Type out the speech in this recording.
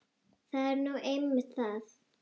Það er nú einmitt það!